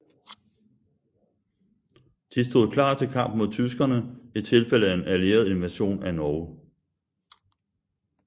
De stod klar til kamp mod tyskerne i tilfælde af en allieret invasion af Norge